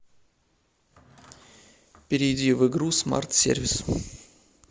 перейди в игру смарт сервис